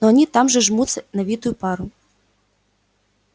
но они там все жмутся на витую пару